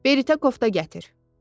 Beritə kofta gətir.